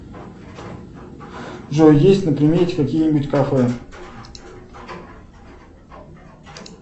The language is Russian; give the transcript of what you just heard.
джой есть на примете какие нибудь кафе